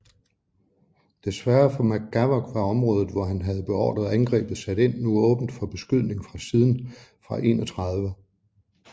Desværre for McGavock var området hvor han havde beordret angrebet sat ind nu åbent for beskydning fra siden fra 31